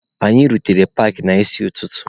Anyị rutere paakị n'isi ụtụtụ.